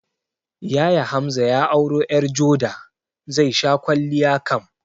Yaya Hamza ya auro ƴar joda, zai sha kwalliya kam